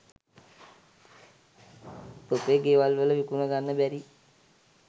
තොපේ ගෙවල් වල විකුණ ගන්න බැරි